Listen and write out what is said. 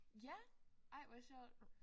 Ja ej hvor sjovt